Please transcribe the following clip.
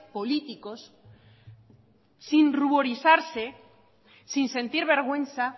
políticos sin ruborizarse sin sentir vergüenza